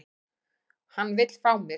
Hann vill fá mig.